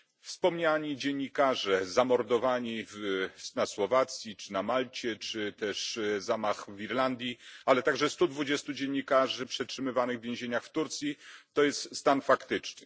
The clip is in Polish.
Wspomniani dziennikarze zamordowani na Słowacji, na Malcie czy też zamach w Irlandii, ale także 120 dziennikarzy przetrzymywanych w więzieniach w Turcji to jest stan faktyczny.